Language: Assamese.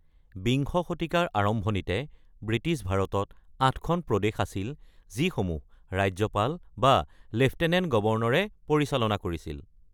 বিংশ শতিকাৰ আৰম্ভণিতে ব্ৰিটিছ ভাৰতত আঠখন প্ৰদেশ আছিল যিসমূহ ৰাজ্যপাল বা লেফটেনেণ্ট গৱৰ্ণৰে পৰিচালনা কৰিছিল।